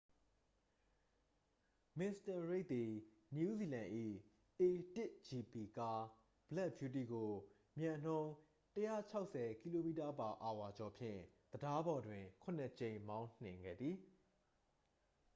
မစ္စတာရိက်သည် နယူးဇီလန်၏ a၁gp ကား ဘလက်ဗျူးတီးကို မြန်နှုန်း ၁၆၀km/h ကျော်ဖြင့် တံတားပေါ်တွင် ခုနစ်ကြိမ် မောင်းနိုင်ခဲ့သည်။